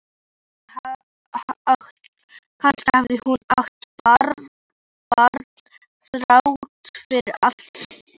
Kannski hafði hún átt barn þrátt fyrir allt.